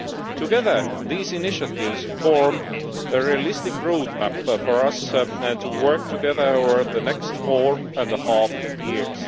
Together, these initiatives form a realistic roadmap for us to work together over the next four and a half years.